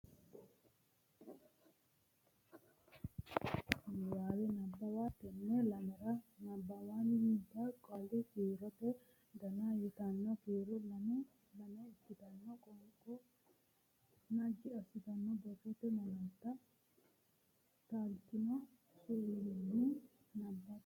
Niwaawe Nabbawa Tenne lamalara nabbabbinita Qaali kiirote Dona yitanno kiiro lame lame ikkitine qoonqo naggi assitinne borrote malaatta taaltino suwissine nabbabbe.